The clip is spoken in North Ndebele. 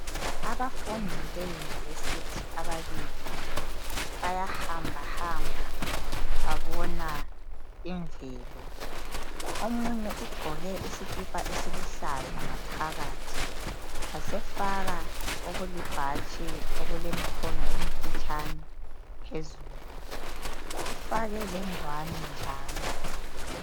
Abafundi beyunivesithi ababili bayahambahamba babona imvelo. Omunye ugqoke isikipa esiluhlaza ngaphakathi wasefaka okulibhatshi okulemkhono emfitshane phezulu ufake lengwane njalo.